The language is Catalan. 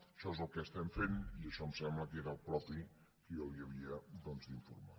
això és el que estem fent i això em sembla que era el propi que jo li havia doncs d’informar